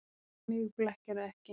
En mig blekkirðu ekki.